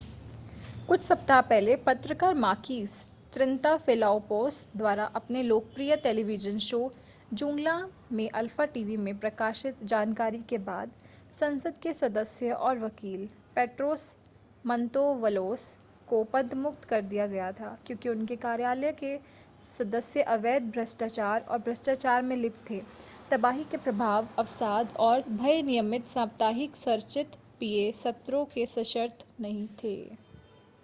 कुछ सप्ताह पहले पत्रकार माकीस त्रिनताफेलोपोस द्वारा अपने लोकप्रिय टेलीविजन शो ज़ूंगला में अल्फा टीवी में प्रकाशित जानकारी के बाद संसद के सदस्य और वकील पेट्रोस मंतौवलोस को पदमुक्त कर दिया गया था क्योंकि उनके कार्यालय के सदस्य अवैध भ्रष्टाचार और भ्रष्टाचार में लिप्त थे तबाही के प्रभाव अवसाद और भय नियमित साप्ताहिक संरचित पीए सत्रों के सशर्त नहीं थे